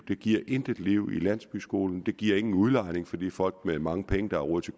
det giver intet liv i landsbyskolen det giver ingen udlejning fordi folk med mange penge der har råd til